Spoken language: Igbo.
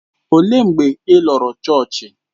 Ọ léé mgbe ị lọrọ chọọchị?